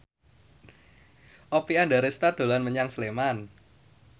Oppie Andaresta dolan menyang Sleman